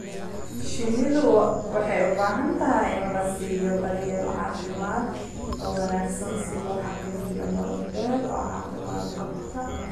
Shinnidu waxay u baahan tahay in la siiyo daryeel caafimaad oo wanaagsan si loo xaqiijiyo nolol dheer oo caafimaad qabta.